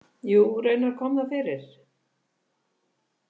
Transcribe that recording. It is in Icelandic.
Jú, raunar kom það fyrir.